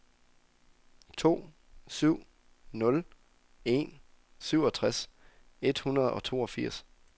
to syv nul en syvogtres et hundrede og toogfirs